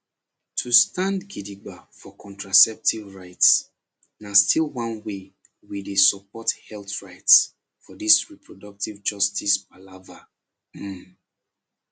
to stand gidigba for contraceptive rights na still one way we dey support health rights for this reproductive justice palava um